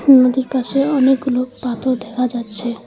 নদীর পাশে অনেকগুলো পাথর দেখা যাচ্ছে।